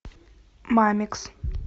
мамикс